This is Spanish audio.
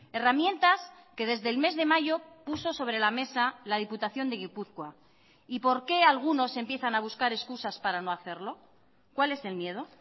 herramientas que desde el mes de mayo puso sobre la mesa la diputación de gipuzkoa y por qué algunos empiezan a buscar excusas para no hacerlo cuál es el miedo